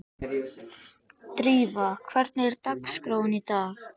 Drífa, hvernig er dagskráin í dag?